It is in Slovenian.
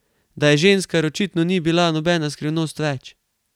Da je ženskar, očitno ni bila nobena skrivnost več.